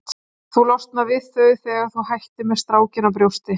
Þú losnar við þau þegar þú hættir með strákinn á brjósti.